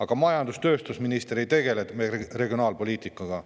Aga majandus- ja tööstusminister ei tegele meil regionaalpoliitikaga.